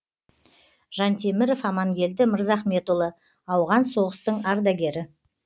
жантеміров амангелді мырзахметұлы ауған соғыстың ардагері